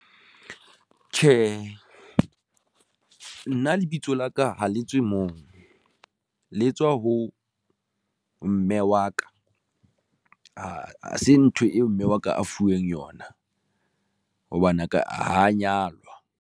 Tjhe, nna lebitso la ka ha le tswe moo, le etswa ho mme wa ka ha se ntho eo mme wa ka a fuweng yona hobane aka a nyalwa.